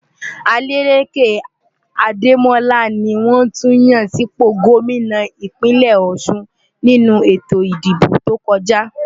Adeleke Ademola ni wọ́n tún yàn sípò gómìnà ìpínlè Ọ̀șun nínú ètò ìdìbò tó kọjá.